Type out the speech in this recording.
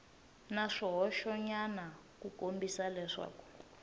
na swihoxonyana ku kombisa leswaku